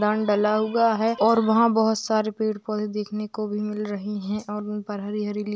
डला हुआ है और वहाँ बहुत सारे पेड़-पौधे देखने को भी मिल रही हैं और उन पर हरी-हरी --